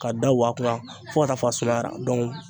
Ka da wa kunna fo ka taa fa sumayara